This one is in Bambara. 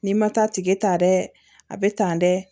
N'i ma taa tigɛ ta dɛ a bɛ tan dɛ